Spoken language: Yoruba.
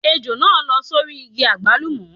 Ejò náà lọ́ sórí igi àgbálùmọ́.